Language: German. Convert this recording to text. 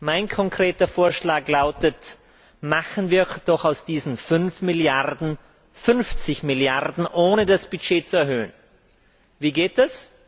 Mein konkreter Vorschlag lautet Machen wir doch aus diesen 5 Milliarden 50 Milliarden, ohne das Budget zu erhöhen. Wie geht das?